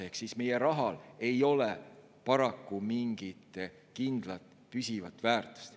Ehk meie rahal ei ole paraku mingit kindlat, püsivat väärtust.